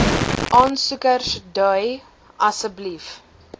aansoekers dui asseblief